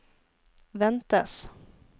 ventes